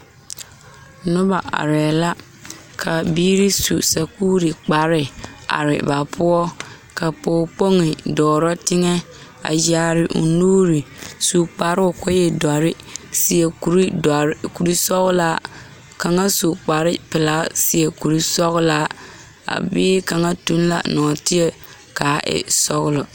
Noba arɛɛ la ka biiri su sakuuri kpare are ba poɔ ka Pɔge kpoŋe dɔɔrɔ teŋɛ a yaare o nuuri su kparoo ka o e dɔre seɛ kuridɔre kurisɔglaa kaŋa su kparepelaa seɛ kurisɔglaa a bie kaŋa toŋ la nɔɔteɛ k,a e sɔglɔ.